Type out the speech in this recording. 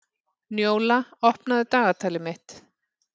Njóla, opnaðu dagatalið mitt.